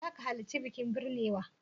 Za ka halarci bikin binnewa?